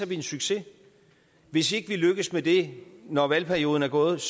vi en succes hvis ikke vi lykkes med det når valgperioden er gået